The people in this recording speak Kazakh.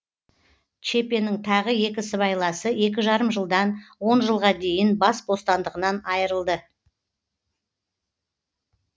чепенің тағы екі сыбайласы екі жарым жылдан он жылға дейін бас бостандығынан айрылды